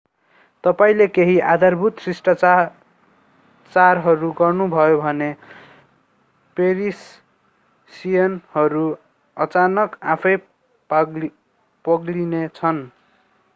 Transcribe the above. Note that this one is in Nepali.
तपाईंले केही आधारभूत शिष्टाचारहरू गर्नुभयो भने पेरिसियनहरू अचानक आफैं पग्लिने छन्‌।